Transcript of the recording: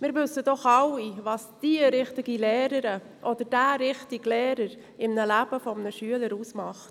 Wir wissen doch alle, was die richtige Lehrerin oder der richtige Lehrer im Leben eines Schülers ausmacht.